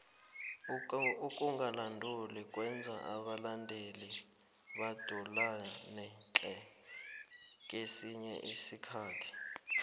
ukangathumbi kwenza abalandeli badulane tle kesinye isikhathi